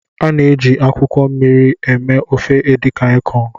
A na-eji akwụkwọ mmiri eme ofe Edikang ikong.